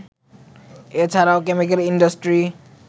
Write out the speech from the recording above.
এ ছাড়াও chemical industry